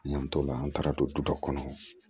N y'an t'o la an taara don duba kɔnɔ